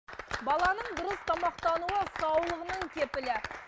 баланың дұрыс тамақтануы саулығының кепілі